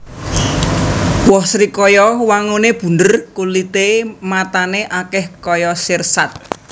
Woh srikaya wanguné bunder kulité matané akèh kaya sirsat